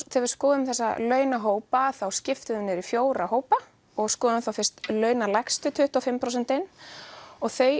þegar við skoðum þessa launahópa þá skiptum við þeim niður í fjóra hópa og skoðum þá fyrst launalægstu tuttugu og fimm prósentin og þau